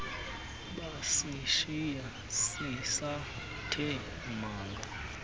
basishiya sisathe manga